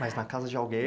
Mas na casa de alguém?